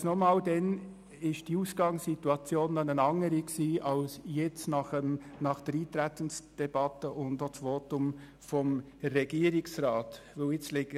Allerdings – und ich sage es erneut – war die Ausgangslage damals anders als jetzt nach der Eintretensdebatte und dem Votum von Regierungsrat Schnegg.